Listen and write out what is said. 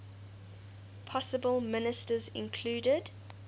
possible ministers included